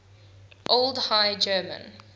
old high german